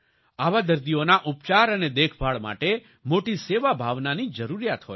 આવા દર્દીઓના ઉપચાર અને દેખભાળ માટે મોટી સેવાભાવનાની જરૂરિયાત હોય છે